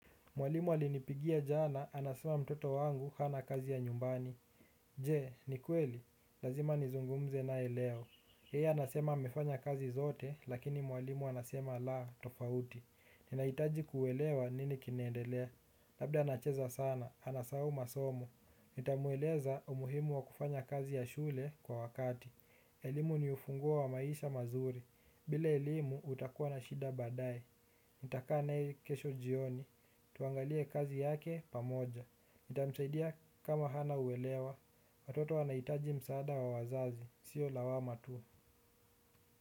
Mwalimu alinipigia jana, anasema mtoto wangu hana kazi ya nyumbani. Je, ni kweli. Lazima nizungumze naye leo. Yeye anasema amefanya kazi zote, lakini mwalimu anasema la, tofauti. Ninaitaji kuelewa nini kinendelea. Labda anacheza sana, anasahau masomo. Nitamueleza umuhimu wa kufanya kazi ya shule kwa wakati. Elimu ni ufunguo wa maisha mazuri. Bile elimu utakuwa na shida baadae nitaka naye kesho jioni. Tuangalie kazi yake pamoja nitamsaidia kama hana uwelewa. Watoto wanaitaji msaada wa wazazi. Sio lawama tu.